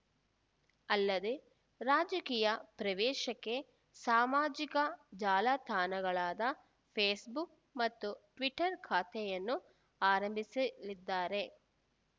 ಅಲ್ಲದೇ ರಾಜಕೀಯ ಪ್ರವೇಶಕ್ಕೆ ಸಾಮಾಜಿಕ ಜಾಲತಾಣಗಳಾದ ಫೇಸ್‌ಬುಕ್‌ ಮತ್ತು ಟ್ವಿಟರ್‌ ಖಾತೆಯನ್ನು ಆರಂಭಿಸಲಿದ್ದಾರೆ